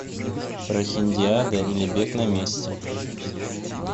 прохиндиада или бег на месте